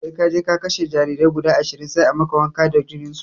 Sai kaje ka kashe jarirai guda ashirin sai a maka wanka da jininsu